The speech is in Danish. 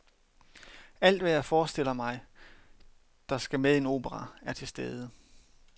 Alt, hvad jeg forestiller mig, der skal med i en opera, er til stede.